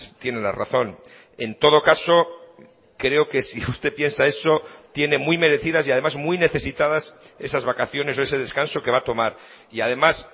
tiene la razón en todo caso creo que si usted piensa eso tiene muy merecidas y además muy necesitadas esas vacaciones o ese descanso que va a tomar y además